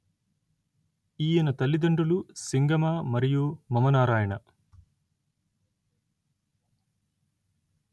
ఈయన తల్లితండ్రులు సింగమ మరియు మమనారాయణ